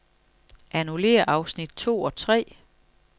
Annullér afsnit to og tre.